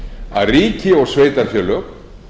að ríki og sveitarfélög